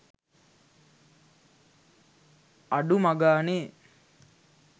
අඩුමගානේ